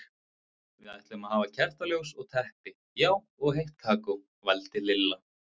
Við ætlum að hafa kertaljós og teppi, já og heitt kakó, vældi Lilla.